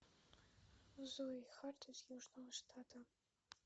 зои харт из южного штата